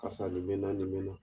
K'a sɔrɔ na